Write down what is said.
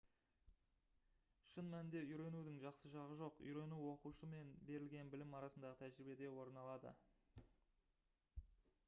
шын мәнінде үйренудің жақсы жағы жоқ үйрену оқушы мен берілген білім арасындағы тәжірибеде орын алады